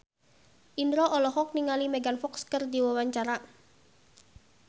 Indro olohok ningali Megan Fox keur diwawancara